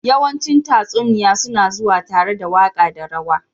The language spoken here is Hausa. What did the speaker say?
yawancin tatsuniya suna zuwa tare da waƙa da rawa.